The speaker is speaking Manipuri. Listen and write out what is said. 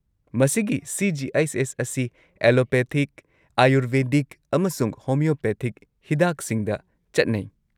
ꯃꯁꯤꯒꯤ ꯁꯤ.ꯖꯤ.ꯑꯩꯆ.ꯑꯦꯁ. ꯑꯁꯤ ꯑꯦꯂꯣꯄꯦꯊꯤꯛ, ꯑꯥꯌꯨꯔꯚꯦꯗꯤꯛ, ꯑꯃꯁꯨꯡ ꯍꯣꯃꯤꯑꯣꯄꯦꯊꯤꯛ ꯍꯤꯗꯥꯛꯁꯤꯡꯗ ꯆꯠꯅꯩ ꯫